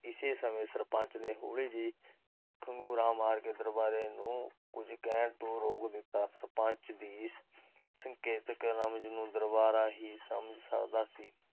ਇਸੇ ਸਮੇ ਸਰਪੰਚ ਨੇ ਹੋਲੀ ਜਿਹੀ ਖਾਗੂਰਾ ਮਾਰ ਕੇ ਉਸਨੂੰ ਕੁਝ ਕਹਿਣ ਤੋਂ ਰੋਕ ਦਿੱਤਾ l ਸਰਪੰਚ ਦੀ ਇਸ ਸੰਕੇਤਿਕ ਰਮਜ ਨੂੰ ਦਰਬਾਰਾ ਹੀ ਸਮਝ ਸਕਦਾ ਸੀ